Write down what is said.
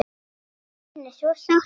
Þín er svo sárt saknað.